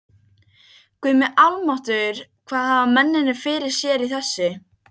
Guð minn almáttugur hvað hafa mennirnir fyrir sér í þessu?